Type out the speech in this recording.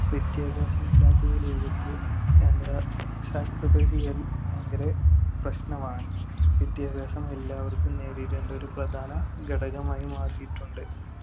വിദ്യാഭ്യാസം ഇല്ലാത്ത ഈ ലോകത്ത് sacrifice ചെയ്യല്‍ ഭയങ്കര പ്രശ്‌നമാണ്. വിദ്യാഭ്യാസം എല്ലാവർക്കും നേരിടേണ്ട ഒരു പ്രധാന ഘടകമായി മാറിയിട്ടുണ്ട്.